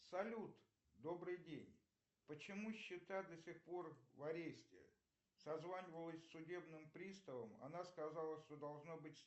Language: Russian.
салют добрый день почему счета до сих пор в аресте созванивалась с судебным приставом она сказала что должно быть